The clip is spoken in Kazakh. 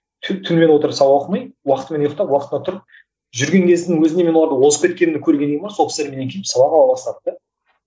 түнімен отырып сабақ оқымай уақытымен ұйқтап уақытында тұрып жүрген кезімнің өзінде мен оларды озып кеткенімді көргеннен кейін бе сол кісілер менен келіп сабақ ала бастады да